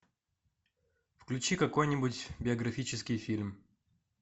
включи какой нибудь биографический фильм